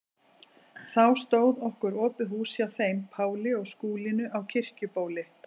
Þá stóð okkur opið hús hjá þeim Páli og Skúlínu á Kirkjubóli.